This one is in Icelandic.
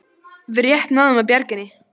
Við rétt náðum að bjarga henni